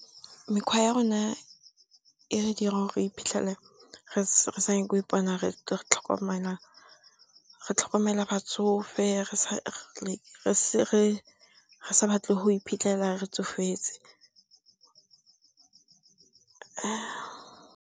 Mekgwa ya rona e re dira gore re iphitlhele re sa nyako ipona re tlhokomela batsofe, re sa batle go iphitlhela re tsofetse .